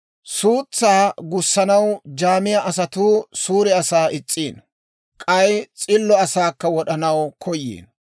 Suutsaa gussanaw jaamiyaa asatuu suure asaa is's'iino; k'ay s'illo asaakka wod'anaw koyiino.